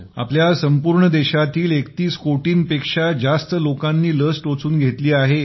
आपल्या संपूर्ण देशातील 31 कोटींपेक्षा जास्त लोकांनी लस टोचून घेतली आहे